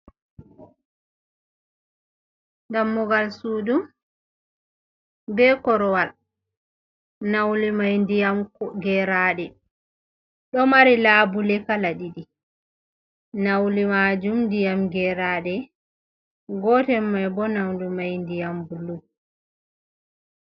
Dammugal sudu be korowal naulu mai ndiyam geraɗe. Ɗo mari labule kala ɗiɗi nauli majum ndiyam geraɗe, gotel mai bo naulu mai ndiyam bulu.